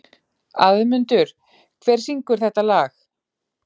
Auðmundur, hver syngur þetta lag?